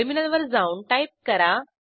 terminal वर जाऊन type करा